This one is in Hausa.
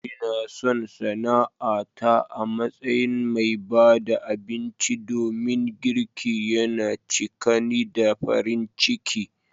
Ina son sana'ata a matsayin mai ba da abinci domin girki yana cika ni da farin ciki.